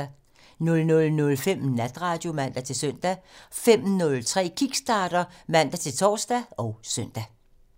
00:05: Natradio (man-søn) 05:03: Kickstarter (man-tor og søn)